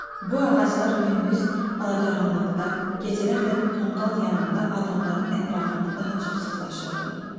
Bu ağaclar gündüz, ala-qaranlıqda, gecələr də tonqal yanında adamların ətrafında daha çox sıxlaşırdılar.